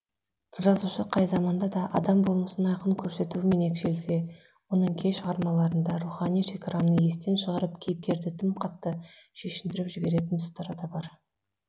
жазушы қай заманда да адам болмысын айқын көрсетуімен оның кей шығармаларында рухани шекараны естен шығарып кейіпкерді тым қатты шешіндіріп жіберетін тұстары да бар